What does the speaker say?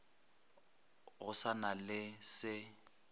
go sa na le se